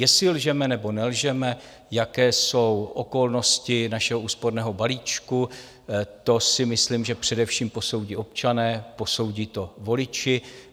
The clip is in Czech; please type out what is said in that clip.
Jestli lžeme, nebo nelžeme, jaké jsou okolnosti našeho úsporného balíčku, to si myslím, že především posoudí občané, posoudí to voliči.